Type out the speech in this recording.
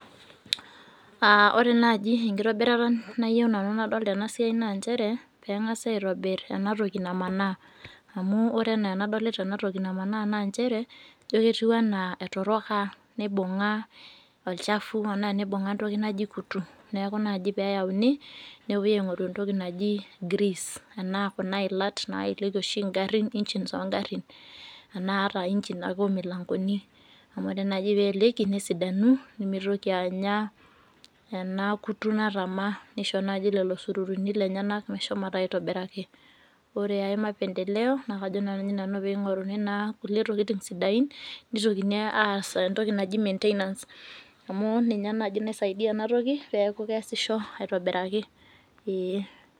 Aa ore naji enkitobirata nayio nanu nadol tenasiai na nchere pengasau aitobir enatoki namanaa amu ore ana anadolita enatoki namanaa na nchere ijo ketou ana etaroko nibunga olchafu nibunga antoki naji kutu nepuoi aingoru entoki naji greece nepuoibaingoru kuna ila oshi naelekie njini ongarin ana ataainjin ake omilangoni eeliekie nesidanu nemitoki anya enakutu natama nimitoki anya sururuni lenyenak meshomoita aitobiraki ore ai maendeleo na kajo nanu peingurakini nkulie maendeleo nitokini aas entoki naji[maintainance amu ninye naji naisaidia enatoki metaa keasisho aitobiraki.